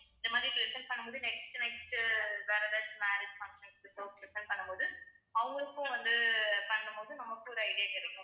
இந்த மாதிரி present பண்ணும் போது next உ next உ வேற எதாச்சும் marriage functions க்கோ present பண்ணும் போது அவங்களுக்கும் வந்து பண்ணும் போது நமக்கும் ஒரு idea கிடைக்கும்